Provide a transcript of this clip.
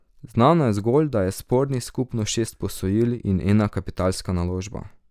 Znano je zgolj, da je spornih skupno šest posojil in ena kapitalska naložba.